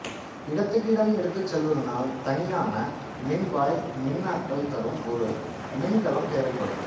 இடத்துக்கு இடம் எடுத்துச் செல்வதனால் தனியான மின்வாய் மின்னாற்றல் தரும் ஒரு மின்கலம் தேவைப்படும்